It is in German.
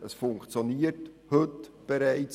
Die Information funktioniert heute bereits.